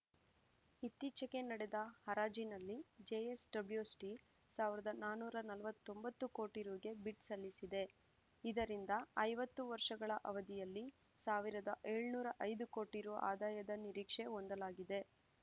ಇತ್ತಿಚೆಗೆ ನಡೆದ ಹರಾಜಿನಲ್ಲಿ JSW steel ಒಂದು ನಾನೂರ ನಲವತ್ತೊಂಬತ್ತು ಕೋಟಿ ರುಗೆ ಬಿಡ್‌ ಸಲ್ಲಿಸಿದೆ ಇದರಿಂದ ಐವತ್ತು ವರ್ಷಗಳ ಅವಧಿಯಲ್ಲಿ ಸಾವಿರದ ಏಳುನೂರ ಐದು ಕೋಟಿ ರು ಆದಾಯದ ನಿರೀಕ್ಷೆ ಹೊಂದಲಾಗಿದೆ